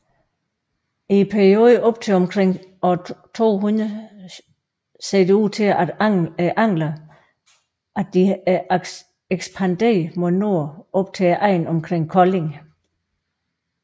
I perioden op til omkring år 200 synes anglerne at være ekspanderet mod nord op til egnen omkring Kolding